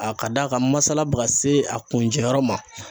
A ka d'a ka masala bɛ ka se a kuncɛ yɔrɔ ma.